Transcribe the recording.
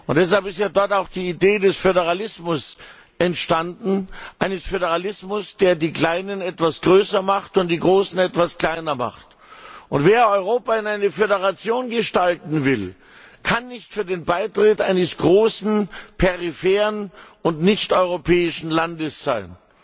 Deshalb ist ja dort auch die Idee des Föderalismus entstanden, eines Föderalismus, der die Kleinen etwas größer macht und die Großen etwas kleiner. Wer Europa zu einer Föderation gestalten will, kann nicht für den Beitritt eines großen, peripheren und nicht europäischen Landes sein.